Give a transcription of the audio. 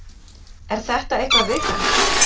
Er þetta eitthvað viðkvæmt?